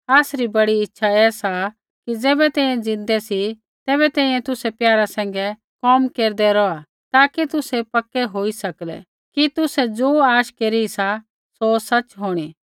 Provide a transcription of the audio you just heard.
आसरी बड़ी इच्छा ऐ सा कि ज़ैबै तैंईंयैं ज़िन्दै सी तैबै तैंईंयैं तुसै प्यारा सैंघै कोम केरदै रौहा ताकि तुसै पक्का होई सकलै कि तुसाबै ज़ो आश केरी सा सौ सच़ होंणी